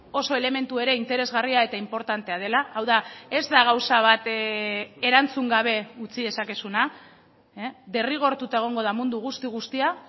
oso elementu ere interesgarria eta inportantea dela hau da ez da gauza bat erantzun gabe utzi dezakezuna derrigortuta egongo da mundu guzti guztia